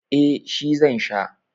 eh shi zan Sha